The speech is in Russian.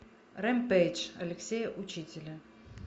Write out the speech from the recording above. ремпейдж алексея учителя